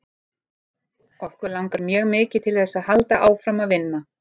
Okkur langar mjög mikið til þess að halda áfram að vinna.